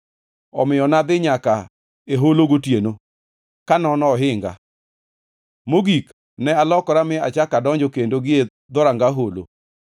omiyo nadhi nyaka e holo gotieno, kanono ohinga. Mogik, ne alokora mi achako adonjo kendo gie Dhoranga Holo.